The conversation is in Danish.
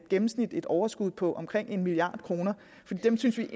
gennemsnitligt overskud på omkring en milliard kroner dem synes vi